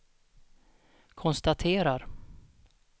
konstaterar